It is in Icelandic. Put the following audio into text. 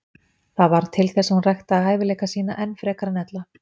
Það varð til þess að hún ræktaði hæfileika sína enn frekar en ella.